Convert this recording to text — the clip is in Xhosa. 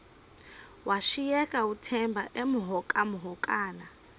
washiyeka uthemba emhokamhokana